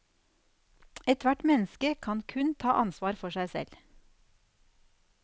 Ethvert menneske kan kun ta ansvar for seg selv.